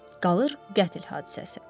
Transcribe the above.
Qalır qətl hadisəsi.